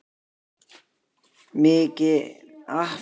Mikaelína, spilaðu lag.